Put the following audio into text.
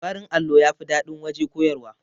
Farin allo yafi daɗin waje koyarwa